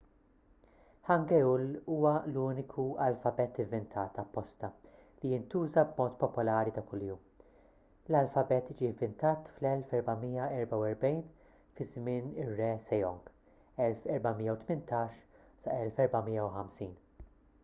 hangeul huwa l-uniku alfabet ivvintat apposta li jintuża b’mod popolari ta' kuljum. l-alfabet ġie ivvintat fl-1444 fi żmien ir-re sejong 1418 - 1450